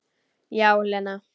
Já, Lena.